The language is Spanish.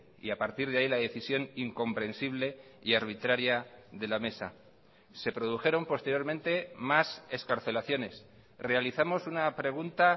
y a partir de ahí la decisión incomprensible y arbitraria de la mesa se produjeron posteriormente más excarcelaciones realizamos una pregunta